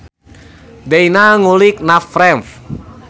Deyna ngulik navframe